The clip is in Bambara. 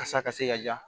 Kasa ka se ka ja